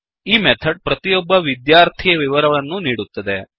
ಈ ಮೆಥಡ್ ಪ್ರತಿಯೊಬ್ಬ ವಿದ್ಯಾರ್ಥಿಯ ವಿವರವನ್ನೂ ನೀಡುತ್ತದೆ